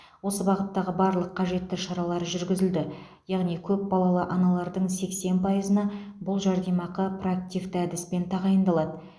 осы бағыттағы барлық қажетті шаралар жүргізілді яғни көпбалалы аналардың сексен пайызына бұл жәрдемақы проактивті әдіспен тағайындалады